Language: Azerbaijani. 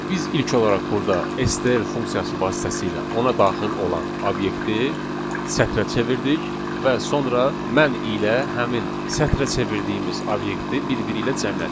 Biz ilk olaraq burda STR funksiyası vasitəsilə ona daxil olan obyekti sətrə çevirdik və sonra mən ilə həmin sətrə çevirdiyimiz obyekti bir-biri ilə cəmlədik.